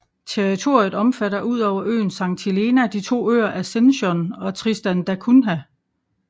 Territoriet omfatter udover øen Sankt Helena de to øer Ascension og Tristan da Cunha